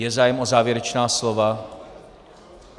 Je zájem o závěrečná slova?